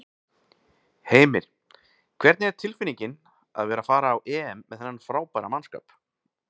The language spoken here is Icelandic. Heimir: Hvernig er tilfinningin að vera að fara á EM með þennan frábæra mannskap?